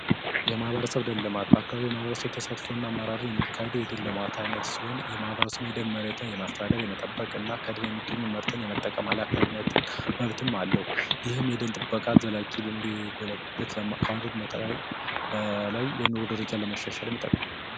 የማህበረሰብ ደን ልማት በአካባቢው የማህበረሰብ ተሳትፎ እና አመራር የሚካሄደው የደን ልማት አይነት ሲሆን ይህም የደን መሬትን የማስተዳደር የመጠበቅ እና ከደን የሚገኘውን ጥቅም የመጠቀም ኃላፊነት መብትም አለው። ይህም የደን ጥበቃ እንዲጎለበት ከማድረጉም በላይ የኑሮ ደረጃንም ለማሻሻል ይጠቅማል።